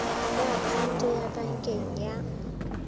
ya akhaonto ya pankeng ya